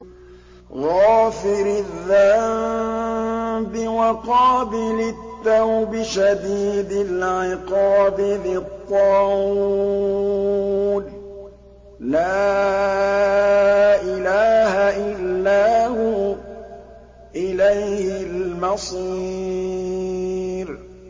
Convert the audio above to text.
غَافِرِ الذَّنبِ وَقَابِلِ التَّوْبِ شَدِيدِ الْعِقَابِ ذِي الطَّوْلِ ۖ لَا إِلَٰهَ إِلَّا هُوَ ۖ إِلَيْهِ الْمَصِيرُ